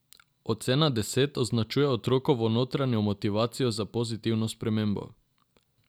Ocena deset označuje otrokovo notranjo motivacijo za pozitivno spremembo.